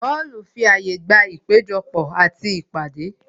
Họlu fi àyè gba ìpéjọ pò àti ìpàdé